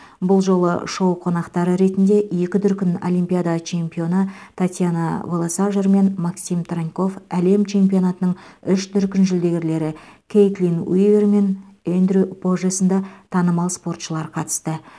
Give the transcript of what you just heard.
бұл жолы шоу қонақтары ретінде екі дүркін олимпиада чемпионы татьяна волосожар мен максим траньков әлем чемпионатының үш дүркін жүлдегерлері кейтлин уивер мен эндрю поже сынды танымал спортшылар қатысты